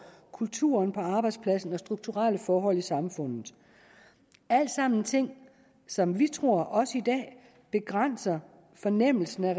kulturen på arbejdspladsen og strukturelle forhold i samfundet alt sammen er ting som vi tror også i dag begrænser fornemmelsen af